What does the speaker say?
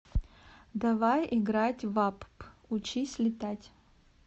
давай играть в апп учись летать